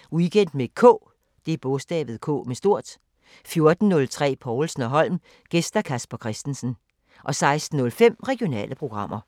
12:15: Weekend med K 14:03: Povlsen & Holm: Gæst Casper Christensen 16:05: Regionale programmer